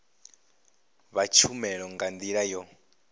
vha tshumelo nga ndila yo